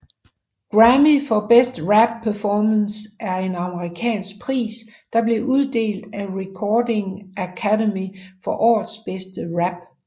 Grammy for Best Rap Performance er en amerikansk pris der blev uddelt af Recording Academy for årets bedste rap